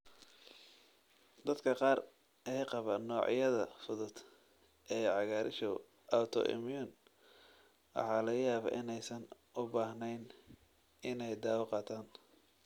Dadka qaar ee qaba noocyada fudud ee cagaarshow autoimmune waxaa laga yaabaa inaysan u baahnayn inay dawo qaataan.